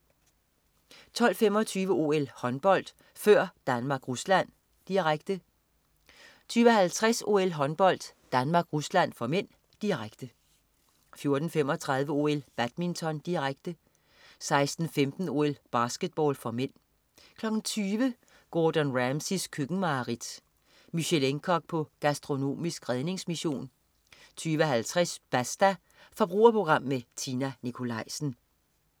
12.25 OL: Håndbold, før Danmark-Rusland. Direkte 12.50 OL: Håndbold, Danmark-Rusland (m), direkte 14.35 OL: Badminton, direkte 16.15 OL: Basketball (m) 20.00 Gordon Ramsays køkkenmareridt. Michelin-kok på gastronomisk redningsmission 20.50 Basta. Forbrugerprogram med Tina Nikolaisen